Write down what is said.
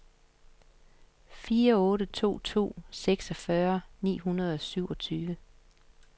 fire otte to to seksogfyrre ni hundrede og syvogtyve